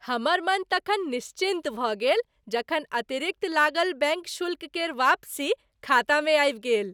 हमर मन तखन निश्चिन्त भऽ गेल जखन अतिरिक्त लागल बैंक शुल्क केर वापसी खातामे आबि गेल।